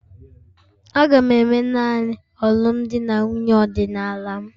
Aga'm eme naanị alụmdi na nwunye ọdịnala m